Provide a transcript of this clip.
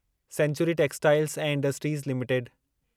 sanctuary textiles ऐं industries limited